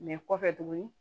kɔfɛ tuguni